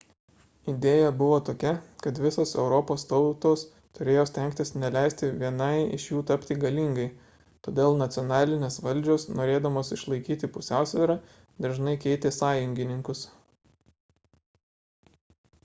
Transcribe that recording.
idėja buvo tokia kad visos europos tautos turėjo stengtis neleisti vienai iš jų tapti galingai todėl nacionalinės valdžios norėdamos išlaikyti pusiausvyrą dažnai keitė sąjungininkus